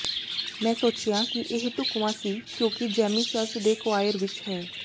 ਮੈਂ ਸੋਚਿਆ ਕਿ ਇਹ ਢੁਕਵਾਂ ਸੀ ਕਿਉਂਕਿ ਜੈਮੀ ਚਰਚ ਦੇ ਕੋਆਇਰ ਵਿੱਚ ਹੈ